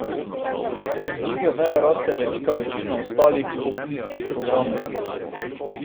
Iz druge veje raste velika večina ostalih opcijskih programov.